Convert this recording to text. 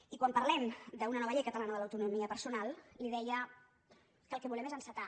i quan parlem d’una nova llei catalana de l’autonomia personal li deia que el que volem és encetar